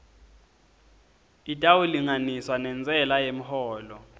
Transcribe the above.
itawulinganiswa nentsela yemholo